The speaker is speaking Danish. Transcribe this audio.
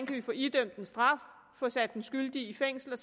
kan få idømt en straf og få sat den skyldige i fængsel